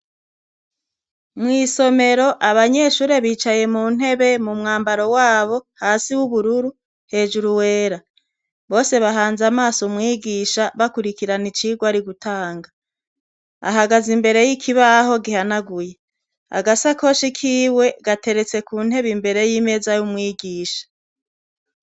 Mw’isomero abanyeshure bicaye muntebe mumwambaro wabo, hasi w’ubururu , hejuru wera. Bose bahanzamaso umwigisha bakwirikirana icigwa arigutanga. Ahagaz’imbere y’ikibaho gihanaguye. Agasakoshi kiwe gateretse kuntebe imbere y’imeza y’umwigisha.